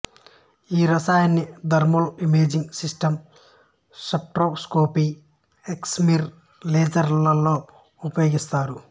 ఈ రసాయనాన్ని thermal imaging system spectroscopy excimer laser లలో ఉపయోగిస్తారు